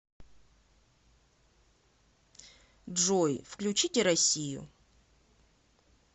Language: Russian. джой включите россию